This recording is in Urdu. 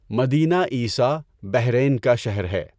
مدینہ عیسیٰ بحرین کا شہر ہے۔